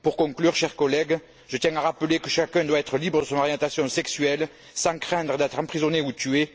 Pour conclure, chers collègues, je tiens à rappeler que chacun doit être libre de son orientation sexuelle, sans craindre d'être emprisonné ou tué.